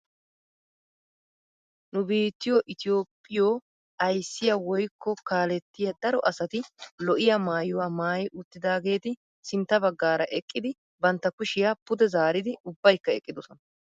Nu biittiyoo itoophphiyoo ayssiyaa woykko kaalettiyaa daro asati lo"iyaa maayuwaa maayi uttidaageti sintta baggaara eqqidi bantta kushiyaa pude zaaridi ubbaykka eqqidosona.